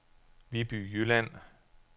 Viby Jylland